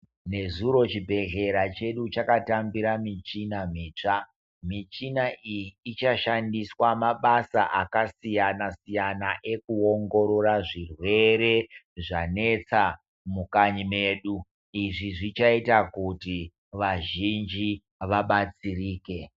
Nezuro chibhedlera chedu chakatambira michina mitsva, michina iyi ichashandiswa mabasa akasiyana siyana ekuwongorora zvirwere zvanetsa mukanyi mwedu, izvi zvichaita kuti vazhinji vabatsirike .